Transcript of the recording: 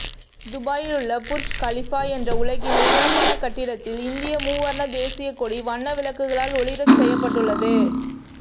துபாயில் உள்ள Burj Khalifa என்ற உலகின் உயரமான கட்டிடத்தில் இந்திய மூவர்ண தேசிய கொடி வண்ண விளக்குகளால் ஒளிரச்செய்யப்பட்டுள்ளது